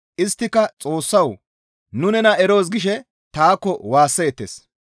Isttika, ‹Xoossawu! Nu nena eroos› gishe taakko waasseettes.